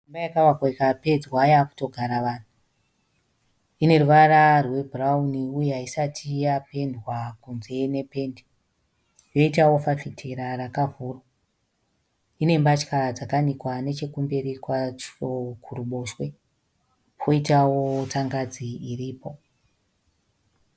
Imba yakavakwa ikapedzwa yaakuto gara vanhu. Ine ruvara rwebhurauni uye haisati yapendwa kunze nependi. Yoitawo fafitera rakavhurwa. Ine mbatya dzakanikwa nechekumberi kwacho kuruboshwe koitawo tsangadzi iripo.